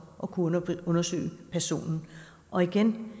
at kunne undersøge personen og igen